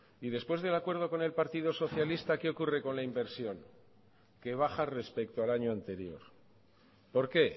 y después del acuerdo con el partido socialista qué ocurre con la inversión que baja respecto al año anterior por qué